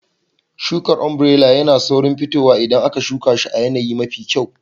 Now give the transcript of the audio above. Shukar ombirela tana da saurin fitowa idan aka shuka ta a yanayi mafi kyau.